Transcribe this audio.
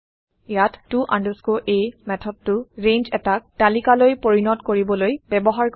ইয়াত to a মেথদটো range এটা তালিকালৈ পৰিণত কৰিবলৈ ব্যৱহাৰ কৰা হয়